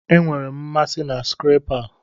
Enwere m mmasị na skrepa a.